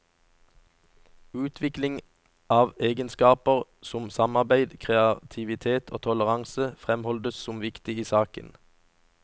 Utvikling av egenskaper som samarbeid, kreativitet og toleranse fremholdes som viktig i saken.